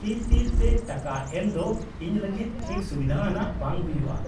-ᱛᱤ ᱛᱤ ᱛᱮ ᱴᱟᱠᱟ ᱮᱢ ᱫᱚ ᱤᱧ ᱞᱟᱹᱜᱤᱫ ᱴᱷᱤᱠ ᱥᱩᱵᱤᱫᱷᱟᱣᱟᱱᱟᱜ ᱵᱟᱝ ᱦᱩᱭᱩᱜᱼᱟ ᱾